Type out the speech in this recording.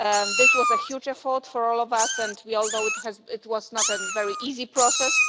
This was a huge effort for all of us and we all know it was not a very easy process.